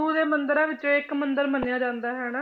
ਦੇ ਮੰਦਿਰਾਂ ਵਿੱਚੋਂ ਇੱਕ ਮੰਦਿਰ ਮੰਨਿਆ ਜਾਂਦਾ ਹਨਾ।